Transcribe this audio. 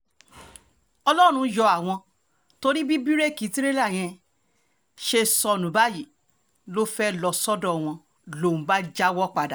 ọlọ́run yọ àwọn torí bí bíréèkì tìrẹ̀là yẹn ṣe sọnù báyìí tó fẹ́ẹ́ lọ sọ́dọ̀ wọn lòún bá jáwọ́ padà